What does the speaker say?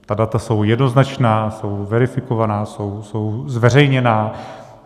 Ta data jsou jednoznačná, jsou verifikovaná, jsou zveřejněná.